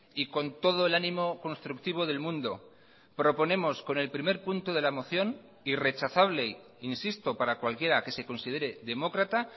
y con todo el ánimo constructivo del mundo proponemos con el primer punto de la moción irrechazable insisto para cualquiera que se considere demócrata